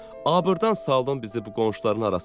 Abırdan saldın bizi bu qonşuların arasında.